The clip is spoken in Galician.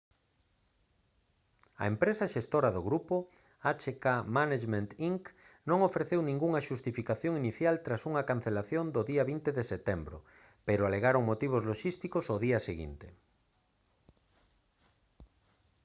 a empresa xestora do grupo hk management inc non ofreceu ningunha xustificación inicial tras a cancelación do día 20 de setembro pero alegaron motivos loxísticos ao día seguinte